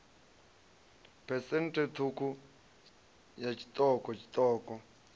phesenthe ṱhukhu ya tshiṱoko tshiṱoko